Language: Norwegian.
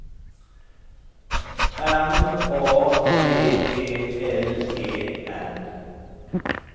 M A D E L E N